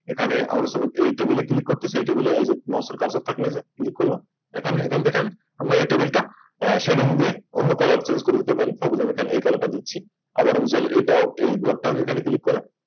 এখানে আমরা Suppose এখানে এই Table click করলাম করতেছি এই যে Mouse এর Cursher নিয়ে যে Click করলাম এখানে এখান থেকে আমি আমরা Table টা Shading দিয়ে অন্য Colour change করে দিতে পারি এটা দিচ্ছি আবার আমি চাইলে এটাও এই ঘরটা এখানে Click করে